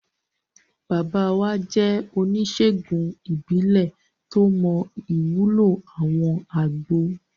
Bàbá wa jẹ́ oníṣèègùn ìbílẹ̀ tó mọ ìwúlò àwọn àgbo